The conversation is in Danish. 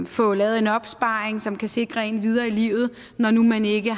få lavet en opsparing som kan sikre en videre i livet når nu man ikke